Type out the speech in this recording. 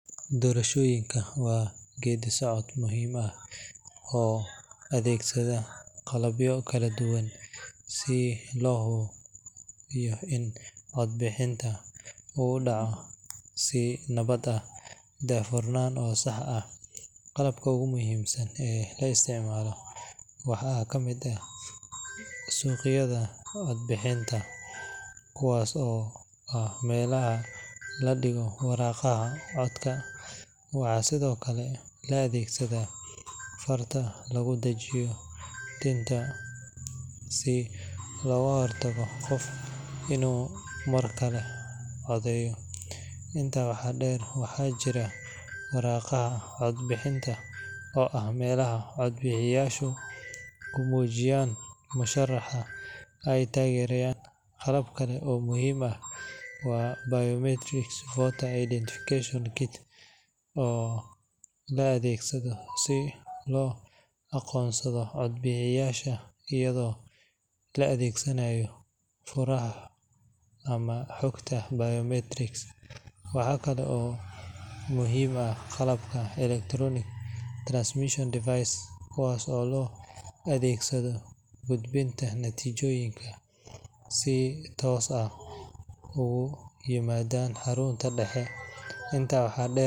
Qalabka iyo mishiinnada doorashooyinka waxaa si weyn looga isticmaalaa nidaamka doorashada si loo hubiyo in codbixiyayaashu ay si hufan oo ammaan ah u gutaan waajibaadkooda dimuqraadiyadeed. Inta badan, qalabka la adeegsado waxaa ka mid ah mashiinnada codbixinta elektarooniga ah oo fududeeya habka codka la dhiibayo, isla markaana yaraynaya khaladaadka bini’aadamka. Waxaa sidoo kale jira mashiinnada lagu tiriyo codadka si otomaatig ah u soo bandhiga natiijada doorashada, taasoo ka dhigaysa habka mid dhakhso badan oo lagu kalsoonaan karo. Qalabka kale ee muhiimka ah waxaa ka mid ah kombiyuutarada iyo softiweerka loo adeegsado diiwaangelinta.